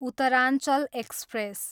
Uttaranchal express